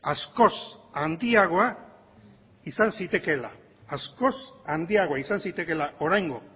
askoz handiagoa izan zitekeela askoz handiagoa izan zitekeela oraingo